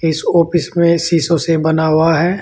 इस ऑफिस में शीशों से बना हुआ है।